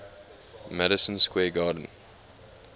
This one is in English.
madison square garden